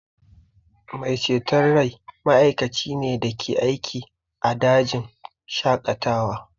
Mai ceton rai ma'aikaci ne da ke aiki a dajin shaƙatawa